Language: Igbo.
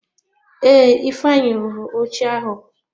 Ee, ifeanyi rụrụ oche ahụ.